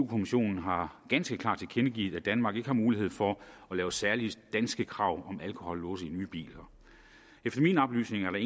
kommissionen har ganske klart tilkendegivet at danmark ikke har mulighed for at lave særlige danske krav om alkohollåse i nye biler efter mine oplysninger er